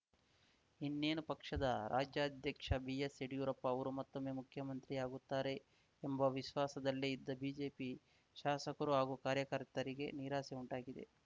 ಇನ್ನೇನು ಪಕ್ಷದ ರಾಜ್ಯಾಧ್ಯಕ್ಷ ಬಿಎಸ್‌ಯಡಿಯೂರಪ್ಪ ಅವರು ಮತ್ತೊಮ್ಮೆ ಮುಖ್ಯಮಂತ್ರಿಯಾಗುತ್ತಾರೆ ಎಂಬ ವಿಶ್ವಾಸದಲ್ಲೇ ಇದ್ದ ಬಿಜೆಪಿ ಶಾಸಕರು ಹಾಗೂ ಕಾರ್ಯಕರ್ತರಿಗೆ ನಿರಾಸೆ ಉಂಟಾಗಿದೆ